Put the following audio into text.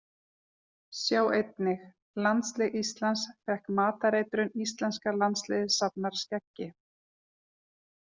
Sjá einnig: Landslið Íslands fékk matareitrun Íslenska landsliðið safnar skeggi